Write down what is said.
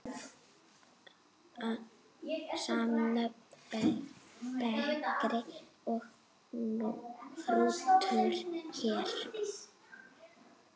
Samnöfn bekri og hrútur hér.